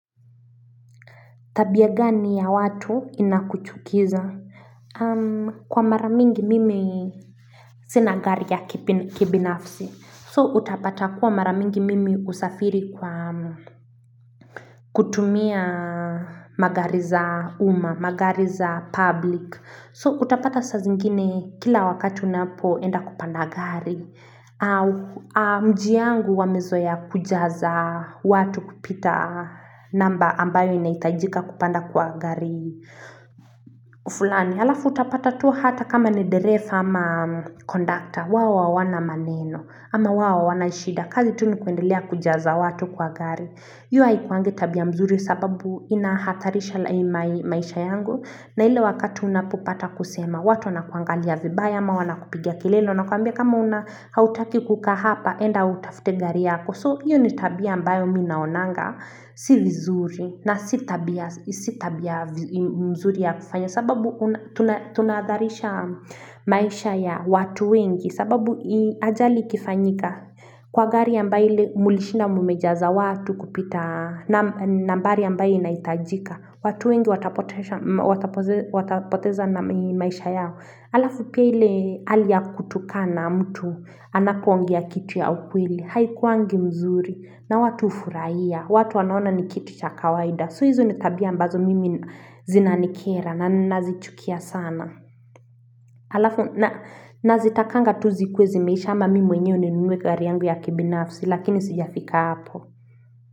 Tabia gani ya watu inakuchukiza. Kwa mara mingi mimi sina gari ya kibinafsi. So utapata kuwa mara mingi mimi husafiri kwa kutumia magari za umma, magari za public. So utapata saa zingine kila wakati unapoenda kupanda gari. Mji yangu wamezoa kujaza watu kupita namba ambayo inahitajika kupanda kwa gari. Fulani, halafu utapatatua hata kama ni derefa ama kondakta, wao hawana maneno ama wao hawana shida, kazi tu ni kuendelea kujaza watu kwa gari. Hio haikuangi tabia mzuri sababu inahatarisha laimai maisha yangu na ile wakati unapopata kusema watu wunakuangalia vibaya ama wnakupigia kilele wanakwambia kama una hautaki kukaa hapa enda utafute gari yako. So hiyo ni tabia ambayo mi naonanga si vizuri na si tabia mzuri ya kufanya sababu tunahadharisha maisha ya watu wengi sababu ajali ikifanyika kwa gari ambayo ile mlishinda mmejaza watu kupita nambari ambayo inahitajika watu wengi watapotesha watapoteza na maisha yao halafu pia ile hali kutukana mtu anapoongea kitu ya ukweli Haikuwangi mzuri na watu hufurahia. Watu wanaona ni kitu cha kawaida. So hizo ni tabia ambazo mimi zinanikera na ninazichukia sana. Alafu na nazitakanga tu zikuwe zimeisha ama mimi mwenyewe ninunue gari yangu ya kibinafsi lakini sijafika hapo.